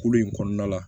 Kolo in kɔnɔna la